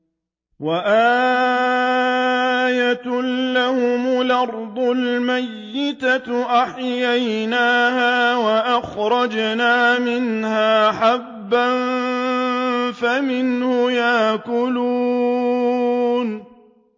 وَآيَةٌ لَّهُمُ الْأَرْضُ الْمَيْتَةُ أَحْيَيْنَاهَا وَأَخْرَجْنَا مِنْهَا حَبًّا فَمِنْهُ يَأْكُلُونَ